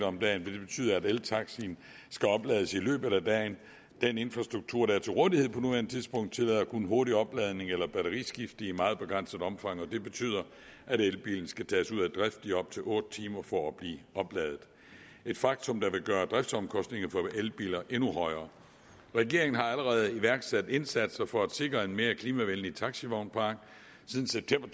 om dagen vil det betyde at eltaxaen skal oplades i løbet af dagen den infrastruktur der er til rådighed på nuværende tidspunkt tillader kun hurtig opladning eller batteriskifte i meget begrænset omfang og det betyder at elbilen skal tages ud af drift i op til otte timer for at blive opladet et faktum der vil gøre driftsomkostningerne for elbiler endnu højere regeringen har allerede iværksat indsatser for at sikre en mere klimavenlig taxavognpark siden september